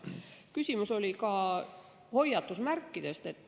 Küsimus oli ka hoiatusmärkide kohta.